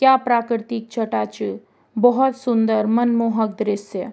क्या प्राकृतिक छटा च भोत सुन्दर मनमोहक दृश्य।